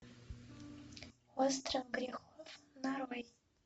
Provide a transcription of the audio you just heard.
остров грехов нарой